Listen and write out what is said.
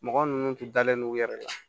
Mɔgɔ ninnu tun dalen no u yɛrɛ la